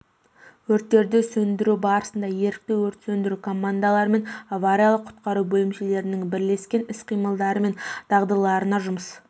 өрттерді сөндіру барысында ерікті өрт сөндіру командалары мен авариялық-құтқару бөлімшелерінің бірлескен іс-қимылдары мен дағдыларына жұмыс